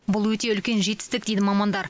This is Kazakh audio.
бұл өте үлкен жетістік дейді мамандар